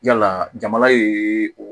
Yala jamana ye o